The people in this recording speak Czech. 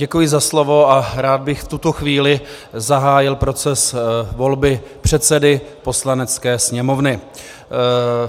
Děkuji za slovo a rád bych v tuto chvíli zahájil proces volby předsedy Poslanecké sněmovny.